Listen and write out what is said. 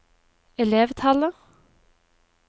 elevtallet